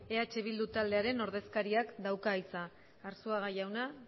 eh bildu taldearen ordezkariak dauka hitza arzuaga jauna